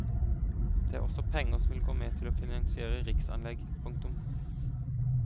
Det er også penger som vil gå med til å finansiere riksanlegg. punktum